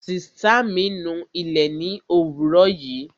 Sìtá mi nu ilé ni òwúrò yìí